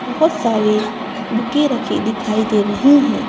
बहुत सारी बुके रखें दिखाई दे रही हैं।